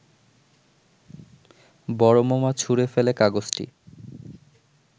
বড় মামা ছুঁড়ে ফেলে কাগজটি